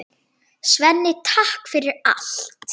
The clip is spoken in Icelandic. Svenni, takk fyrir allt.